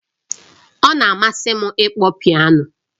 Ọ na-amasị m ịkpọ piano